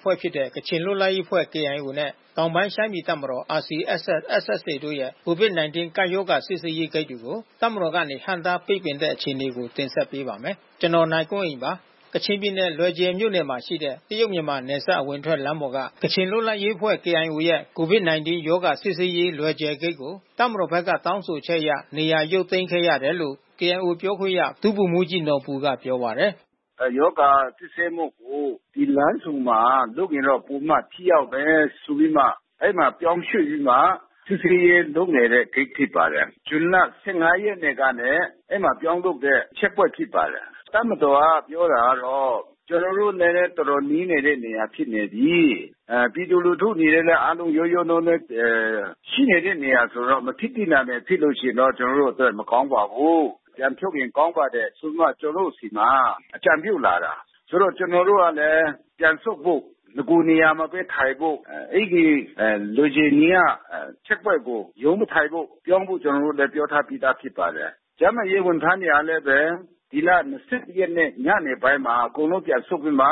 ဖွဲ့ဖြစ်တဲ့ ကချင်လွတ်လပ်ရေးအဖွဲ့ KIO နဲ့ တောင်ပိုင်းရှမ်းပြည်တပ်မတော် RCSS/SSA တို့ရဲ့ COVID-19 ကပ်ရောဂါ စစ်ဆေးရေးဂိတ်တွေကို တပ်မတော်ကနေ ဟန့်တားပိတ်ပင်တဲ့အခြေအနေကို တင်ဆက်ပေးပါမယ်။ ဗွီအိုအေမြန်မာပိုင်းသတင်းထောက် ကိုနိုင်ကွန်းအိန်က သတင်းပေးပို့ထားပါတယ်။ ကချင်ပြည်နယ် လွယ်ဂျယ်မြို့နယ်မှာရှိတဲ့ တရုတ်-မြန်မာနယ်စပ် အဝင်ထွက်လမ်းပေါ်က ကချင်လွတ်လပ်ရေးအဖွဲ့ KIO ရဲ့ COVID-19 ရောဂါ စစ်ဆေးရေးလွယ်ဂျယ်ဂိတ်ကို တပ်မတော်ဘက်က တောင်းဆိုချက်အရ နေရာရုပ်သိမ်းခဲ့ရတယ်လို့ KIO ပြောခွင့်ရ ဗိုလ်မှူးကြီးနော်ဘူက ပြောပါတယ်။ “ရောဂါစစ်ဆေးမှုကို ဒီလမ်းဆုံမှာ လုပ်ရင်တော့ ပိုပြီးမှ ထိရောက်မယ်ဆိုပြီးမှ အဲဒီမှာပြောင်းရွှေ့ပြီးမှ စစ်ဆေးရေးလုပ်နေတဲ့ဂိတ် ဖြစ်ပါတယ်။ ဇွန်လ ၁၅ ရက်နေ့ကနဲ့ အဲဒီမှာပြောင်းလုပ်တဲ့ချက်ပွိုင့်ဖြစ်ပါတယ်။ တပ်မတော်က ပြောတာကတော့ ကျနော်တို့နဲ့ တော်တော်နီးနေတဲ့နေရာဖြစ်နေပြီး။ ပြည်သူလူထုအနေနဲ့လည်း အားလုံးရောရောနှောနှော ရှိနေတဲ့နေရာဆိုတော့ မဖြစ်သင့်တာတွေဖြစ်လို့ ရှိရင်တော့ ကျနော်တို့အတွက် မကောင်းပါဘူး။ ပြန်ဖြုတ်ရင်ကောင်းပါတယ်ဆိုပြီးမှ ကျနော်တို့ဆီမှာ အကြံပြုလာတာ။ ဆိုတော့ ကျနော်တို့ကလည်း ပြန်ဆုတ်ဖို့ နဂိုလ်နေရာမှာပဲ ထိုင်ဖို့။ အဲဒီလွယ်ဂျယ်နေရာက ချက်ပွိုင့်ကို ရုံးမထိုင်ဖို့၊ ပြောင်းဖို့ ကျနော်တို့ ပြောထားပြီးသားဖြစ်ပါတယ်။ ကျန်းမာရေးဝန်ထမ်းတွေကလည်း ဒီလ ၂၁ ရက်နေ့ ညနေပိုင်းမှာ အကုန်လုံးပြန်ဆုတ်ပြီးမှ